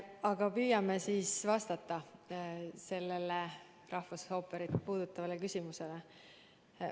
Aga püüan siis vastata sellele rahvusooperit puudutavale küsimusele.